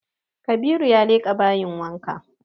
Kabiru ya leƙa bayin wanka